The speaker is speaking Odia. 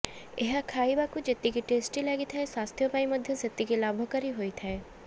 ଏହା ଖାଇବାକୁ ଯେତିକି ଟେଷ୍ଟି ଲାଗିଥାଏ ସ୍ୱାସ୍ଥ୍ୟ ପାଇଁ ମଧ୍ୟ ସେତିକି ଲାଭକାରୀ ହୋଇଥାଏ